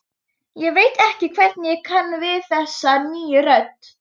Ég veit ekki hvernig ég kann við þessa nýju rödd.